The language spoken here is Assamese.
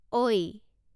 ঐ